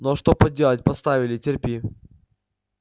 ну а что поделать поставили терпи